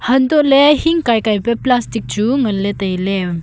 hantole hing kai kai pe plastic chu nganle taile.